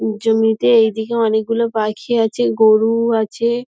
জমিতে এদিকে অনেকগুলো পাখি আছে গরু-উ আছে।